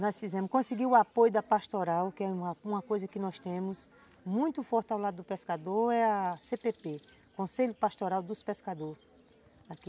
Nós fizemos, conseguimos o apoio da Pastoral, que é uma coisa que nós temos muito forte ao lado do pescador, é a cê pê pê, Conselho Pastoral dos Pescadores.